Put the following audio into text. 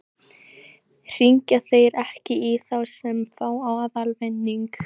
Hringja þeir ekki í þá sem fá aðalvinning?